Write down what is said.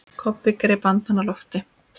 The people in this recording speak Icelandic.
Kobbi greip andann á lofti.